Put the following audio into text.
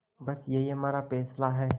बस यही हमारा फैसला है